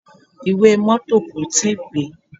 Ìwé mọ́tọ̀ kò tíì pé.